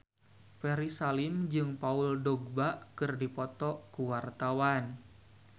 Ferry Salim jeung Paul Dogba keur dipoto ku wartawan